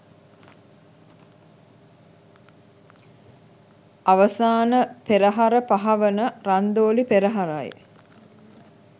අවසාන පෙරහර පහ වන රන්දෝලි පෙරහරයි.